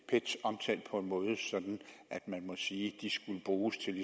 omtalt på en måde sådan at man må sige at de skulle bruges til